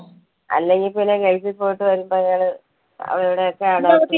അല്ലെങ്കിൽ പിന്നെ ഗൾഫിൽ പോയിട്ട് വരുമ്പോ അയാള് അവരുടെ ഒക്കെ